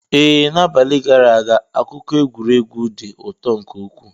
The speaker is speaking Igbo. Ee, n'abalị gara aga akụkọ egwuregwu dị ụtọ nke ukwuu.